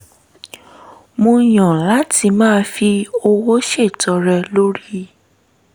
mo yàn láti máa fi owó ṣètọrẹ lórí